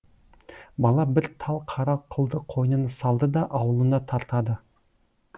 бала бір тал қара қылды қойнына салды да ауылына тартады